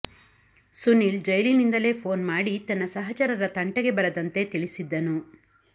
ಸುನೀಲ್ ಜೈಲಿನಿಂದಲೇ ಫೋನ್ ಮಾಡಿ ತನ್ನ ಸಹಚರರ ತಂಟೆಗೆ ಬರದಂತೆ ತಿಳಿಸಿದ್ದನು